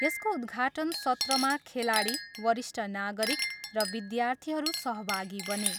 यसको उद्घाटन सत्रमा खेलाडी, वरिष्ठ नागरिक र विद्यार्थीहरू सहभागी बने।